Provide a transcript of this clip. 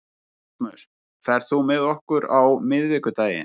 Erasmus, ferð þú með okkur á miðvikudaginn?